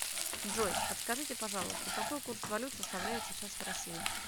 джой подскажите пожалуйста какой курс валют составляет сейчас в россии